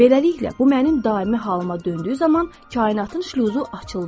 Beləliklə bu mənim daimi halıma döndüyü zaman kainatın şluzu açıldı.